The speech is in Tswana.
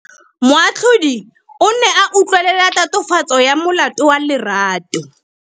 Moatlhodi o ne a utlwelela tatofatsô ya molato wa Lerato.